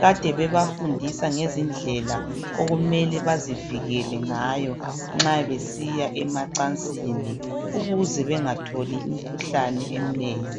kade bebafundisa ngezindlela okumele bazivikele ngayo nxa besiya emacansini ukuze bengatholi imkhuhlane eminengi.